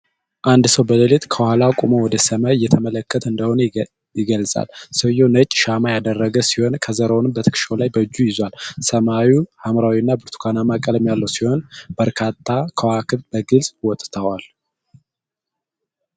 አንድ ሰው በሌሊት ከኋላ ቆሞ ወደ ሰማይ እየተመለከተ እንደሆነ ይገልጻል። ሰውየው ነጭ ሽማ ያደረገ ሲሆን፣ ከዘራውን በትክሻው ላይ በእጁ ይዟል። ሰማዩ ሐምራዊ እና ብርቱካንማ ቀለም ያለው ሲሆን፣ በርካታ ከዋክብት በግልጽ ወጥተዋል።